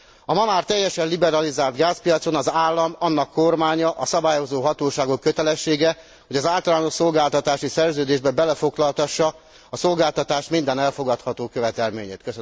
A ma már teljesen liberalizált gázpiacon az állam, annak kormánya, a szabályozó hatóságok kötelessége, hogy az általános szolgáltatási szerződésbe belefoglaltassa a szolgáltatás minden elfogadható követelményét.